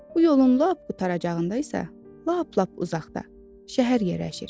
Bu yolun lap qurtaracağında isə, lap-lap uzaqda şəhər yerləşir.